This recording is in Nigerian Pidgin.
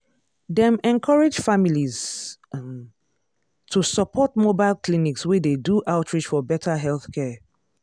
dem encourage families um to support mobile clinics wey dey do outreach for better healthcare.